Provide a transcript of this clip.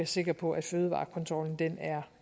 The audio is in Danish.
sikre på at fødevarekontrollen